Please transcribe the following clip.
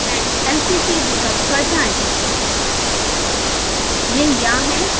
ports com & lpt विकल्प पर जाएँ